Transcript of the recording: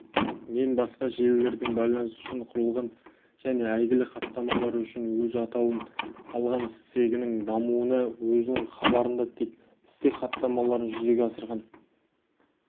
мен басқа желілердің байланысы үшін құрылған және әйгілі хаттамалары үшін өз атауын алған стегінің дамуына өзінің хабарында стек хаттамаларын жүзеге асырған